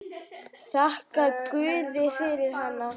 Þakkar guði fyrir hana.